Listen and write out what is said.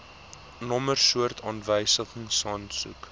nommer soort aanwysingsaansoek